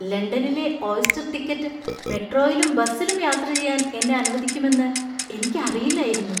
ലണ്ടനിലെ Oyster ticket മെട്രോയിലും ബസിലും യാത്ര ചെയ്യാൻ എന്നെ അനുവദിക്കുമെന്ന് എനിക്ക് അറിയില്ലായിരുന്നു.